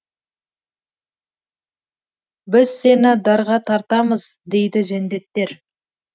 біз сені дарға тартамыз дейді жендеттер